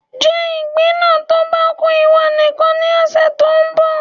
Jẹ ìgbín náà tó bá ku ìwọ nìkan ní ọ̀sẹ̀ tó ń bọ̀